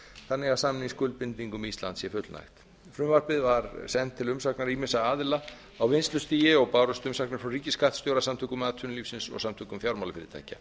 þannig að samningsskuldbindingum íslands sé fullnægt frumvarpið var sent til umsagnar ýmissa aðila á vinnslustigi og bárust umsagnir frá ríkisskattstjóra samtökum atvinnulífsins og samtökum fjármálafyrirtækja